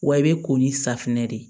Wa i bɛ ko ni safinɛ de ye